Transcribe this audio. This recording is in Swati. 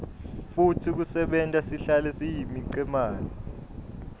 futsi kusenta sihlale siyimicemane